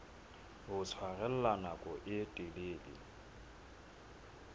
ho tshwarella nako e telele